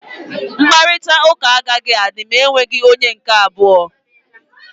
Mkparịta ụka agaghị adị ma e nweghị onye nke abụọ.